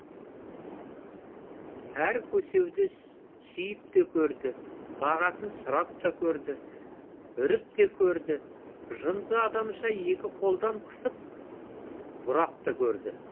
әр көсеуді сүйіпте көрді бағасын сұрап та көрді үріп те көрді жынды адамша екі қолдап қысып бұрап та көрді